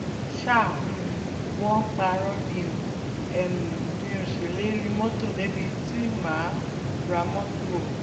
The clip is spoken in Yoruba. ṣá um wọn ń parọ́ ni o um mì ó ṣèlérí mọ́tò débi tí mà á ra mọ́tò o